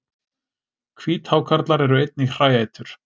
Hvíthákarlar eru einnig hræætur.